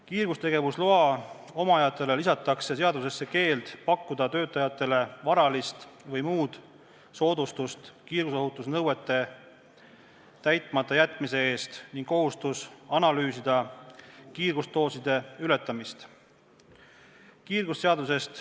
Kiirgustegevusloa omajatele lisatakse seadusesse keeld pakkuda töötajatele varalist või muud soodustust kiirgusohutusnõuete täitmata jätmise eest ning kohustus analüüsida kiirgusdooside ületamist.